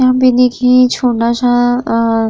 यहाँ पे देखिये छोटा सा अं --